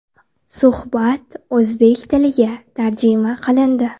Suhbat o‘zbek tiliga tarjima qilindi.